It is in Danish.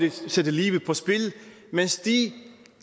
at sætte livet på spil mens de